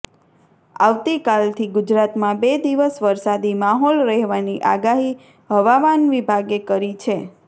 આવતીકાલથી ગુજરાતમાં બે દિવસ વરસાદી માહોલ રહેવાની આગાહી હવામાન વિભાગે કરી છે